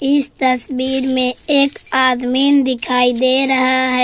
इस तस्वीर मे एक आदमीन दिखाई दे रहा है।